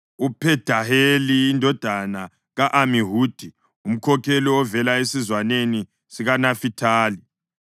uPhedaheli indodana ka-Amihudi, umkhokheli ovela esizwaneni sikaNafithali.”